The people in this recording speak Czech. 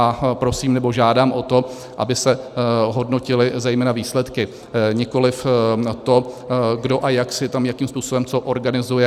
A prosím, nebo žádám o to, aby se hodnotily zejména výsledky, nikoliv to, kdo a jak si tam jakým způsobem co organizuje.